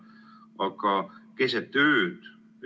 Aga praegu, keset ööd?